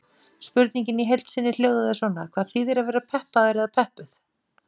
Spurningin í heild sinni hljóðaði svona: Hvað þýðir að vera peppaður eða peppuð?